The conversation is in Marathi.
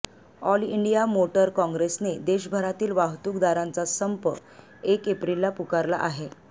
ऑल इंडिया मोटर काँग्रेसने देशभरातील वाहतूकदारांचा संप एक एप्रिलला पुकारला आहे